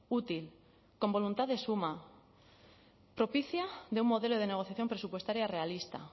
útil con voluntad de suma propicia de un modelo de negociación presupuestaria realista